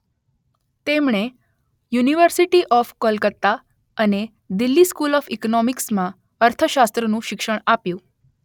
તેમણે university of Kolkata અને Delhi school of ઈકોનોમિક્સમાં અર્થશાસ્ત્રનું શિક્ષણ આપ્યું.